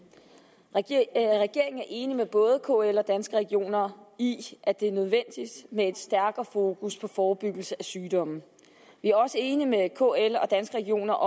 og regeringen er enig med både kl og danske regioner i at det er nødvendigt med et stærkere fokus på forebyggelse af sygdomme vi er også enige med kl og danske regioner